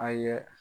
A ye